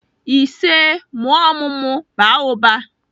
Isee! mụọ ọmụmụ, baa ụba.